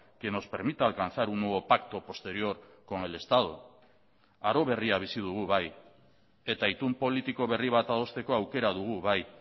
que nos permita alcanzar un nuevo pacto posterior con el estado aro berria bizi dugu bai eta itun politiko berri bat adosteko aukera dugu bai